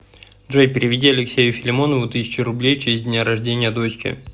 джой переведи алексею филимонову тысячу рублей в честь дня рождения дочки